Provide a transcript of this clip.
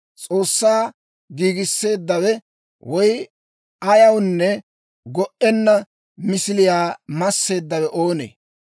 S'oossaa giigisseeddawe, woy ayawunne go"enna misiliyaa masseeddawe oonee?